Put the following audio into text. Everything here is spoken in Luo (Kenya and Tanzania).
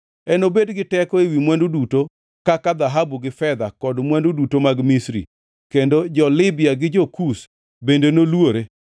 Enobed gi teko ewi mwandu duto kaka dhahabu gi fedha, kod mwandu duto mag Misri, kendo jo-Libya gi jo-Kush bende noluore.